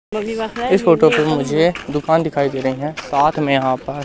इस फोटो पे मुझे दुकान दिखाई दे रही हैं साथ में यहां पर--